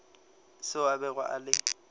seo a bego a le